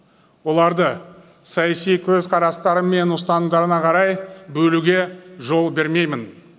оларды саяси көзқарастары мен ұстанымдарына қарай бөлуге жол бермеймін